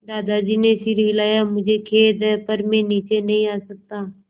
दादाजी ने सिर हिलाया मुझे खेद है पर मैं नीचे नहीं आ सकता